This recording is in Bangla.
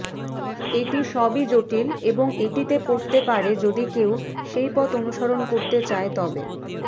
এটি সবই জটিল এবং এটিতে পড়তে পারে যদি কেউ সেই পথ অনুসরণ করতে চায় তবে